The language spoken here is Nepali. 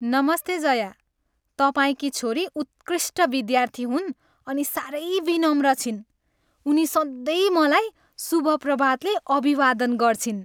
नमस्ते जया, तपाईँकी छोरी उत्कृष्ट विद्यार्थी हुन् अनि साह्रै विनम्र छिन्। उनी सधैँ मलाई शुभ प्रभातले अभिवादन गर्छिन्।